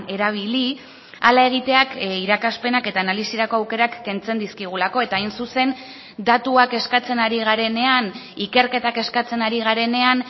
erabili hala egiteak irakaspenak eta analisirako aukerak kentzen dizkigulako eta hain zuzen datuak eskatzen ari garenean ikerketak eskatzen ari garenean